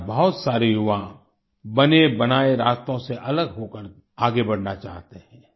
आज बहुत सारे युवा बनेबनाए रास्तों से अलग होकर आगे बढ़ना चाहते हैं